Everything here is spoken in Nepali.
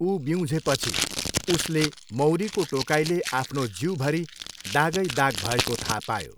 ऊ बिउँझेपछि उसले मौरीको टोकाइले आफ्नो जिउभरि दागै दाग भएको थाहा पायो।